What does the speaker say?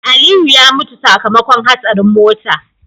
Aliyu ya mutu sakamakon hatsarin mota